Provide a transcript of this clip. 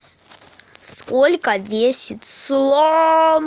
сколько весит слон